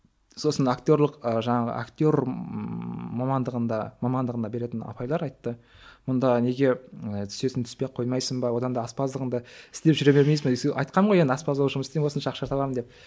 сосын актерлік ы жаңағы актер ммм мамандығында мамандығына беретін апайлар айтты мұнда неге ы түсесің түспей ақ қоймайсың ба одан да аспаздығыңды істеп жүре бермейсің бе айтқамын ғой енді аспаз болып жұмыс істеймін осыншама ақша табамын деп